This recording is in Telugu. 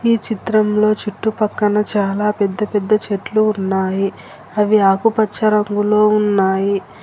ఈ చిత్రంలో చుట్టుపక్కన చాలా పెద్ద పెద్ద చెట్లు ఉన్నాయి అవి ఆకుపచ్చ రంగులో ఉన్నాయి .